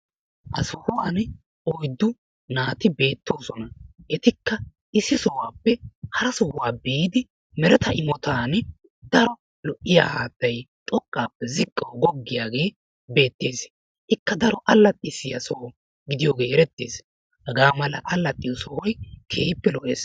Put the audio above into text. Ha sohuwan oyddu naati beettoosona. Etikka issi sohuwappe hara sohuwa biidi mereta imotan daro lo'iya haattay xoqqaappe ziqqawu goggiyagee beettees. Ikka daro allaxissiya soho gidiyogee erettees. Hagaa mala allaxxiyo sohoy keehippe lo'ees.